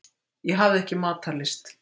Ég hafði ekki matarlyst.